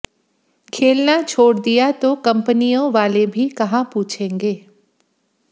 खेलना छोड़ दिया तो कंपनियों वाले भी कहां पूछेंगे